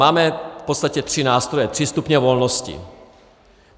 Máme v podstatě tři nástroje, tři stupně volnosti.